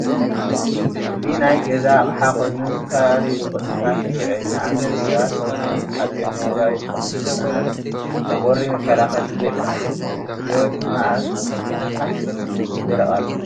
እዚ ናይ ገዛ ኣቕሓ ኾይኑ ንዝተፈላለዩ ጥቕሚ ይውዕል፡፡ ንኣብነት ሰባት ሰውነቶም ተሓፂቦም መድረቒ ይጥቀመሉ፣ ንህፃናት ንቁሪ መከላኸልን ንደቂ ንስትዮ ድማ ኣብ ካስክ ይደርቃሉ፡፡